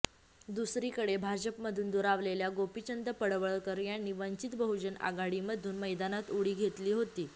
दुसरीकडे भाजपमधून दुरावलेल्या गोपीचंद पडळकर यांनी वंचित बहुजन आघाडीमधून मैदानात उडी घेतली होती